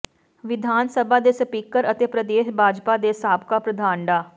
ਵਿਧਾਨ ਸਭਾ ਦੇ ਸਪੀਕਰ ਅਤੇ ਪ੍ਰਦੇਸ਼ ਭਾਜਪਾ ਦੇ ਸਾਬਕਾ ਪ੍ਰਧਾਨ ਡਾ